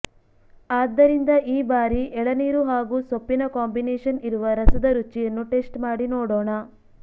ಆದ್ದರಿಂದ ಈ ಬಾರಿ ಎಳನೀರು ಹಾಗೂ ಸೊಪ್ಪಿನ ಕಾಂಬಿನೇಶನ್ ಇರುವ ರಸದ ರುಚಿಯನ್ನು ಟೆಸ್ಟ್ ಮಾಡಿ ನೋಡೋಣ